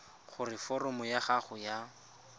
gore foromo ya gago ya